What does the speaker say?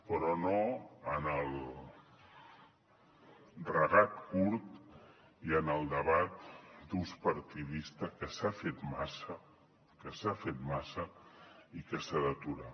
però no en el regat curt i en el debat d’ús partidista que s’ha fet massa que s’ha fet massa i que s’ha d’aturar